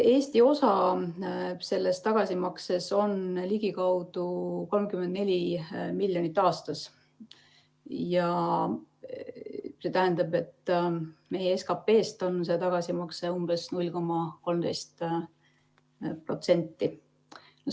Eesti osa sellest tagasimaksest on ligikaudu 34 miljonit aastas ja see tähendab, et meie SKP‑st on see tagasimakse umbes 0,13%.